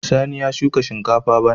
Sani ya shuka shinkafa bana.